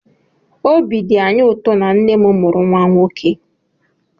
Obi dị anyị ụtọ na nne m mụrụ nwa nwoke